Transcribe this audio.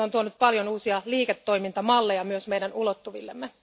Ne ovat tuoneet paljon uusia liiketoimintamalleja myös meidän ulottuvillemme.